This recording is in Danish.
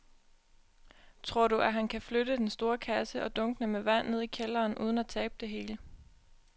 Tror du, at han kan flytte den store kasse og dunkene med vand ned i kælderen uden at tabe det hele?